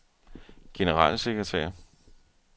generalsekretær